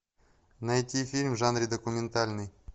найти фильм в жанре документальный